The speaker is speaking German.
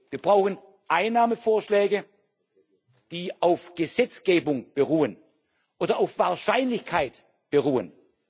Wir brauchen Einnahmevorschläge, die auf Gesetzgebung beruhen oder auf Wahrscheinlichkeit beruhen.